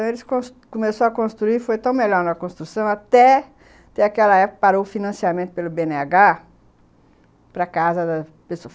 Então eles começaram a construir, foi tão melhor na construção, até ter aquela época que parou o financiamento pelo bê ene agá para casa da pessoa.